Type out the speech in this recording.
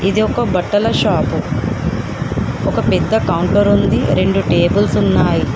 ఇది ఒక బట్టల షాపు ఒక పెద్ద కౌంటర్ ఉంది రెండు టేబుల్స్ ఉన్నాయి.